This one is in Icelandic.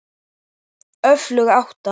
Öflug átta.